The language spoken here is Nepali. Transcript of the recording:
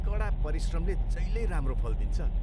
कडा परिश्रमले जहिल्यै राम्रो फल दिन्छ।